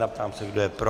Ptám se, kdo je pro.